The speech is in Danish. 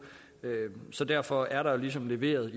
så derfor er der ligesom leveret